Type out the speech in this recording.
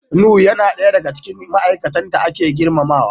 Nuhu yana daya daga cikin ma'aikatan da ake girmamawa.